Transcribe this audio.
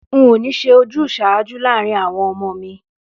N ò ní s̩e ojús̩àájú láàárín àwo̩n o̩mo̩ mi